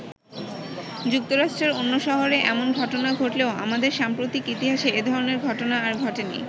যুক্তরাষ্ট্রের অন্য শহরে এমন ঘটনা ঘটলেও আমাদের সাম্প্রতিক ইতিহাসে এধরনের ঘটনা আর ঘটেনি।